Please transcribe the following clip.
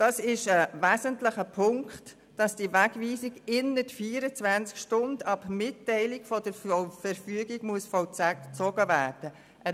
Es ist ein wesentlicher Punkt, dass die Wegweisung innert 24 Stunden ab Mitteilung der Verfügung vollzogen werden muss.